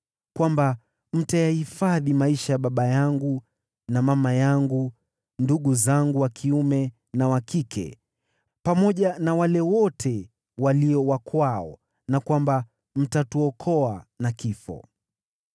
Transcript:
kwamba mtayahifadhi maisha ya baba yangu na mama yangu, ndugu zangu wa kiume na wa kike, pamoja na wale wote walio wa kwao na kwamba mtatuokoa na kifo.”